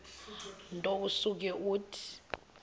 nto usuke uthi